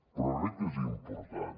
però crec que és important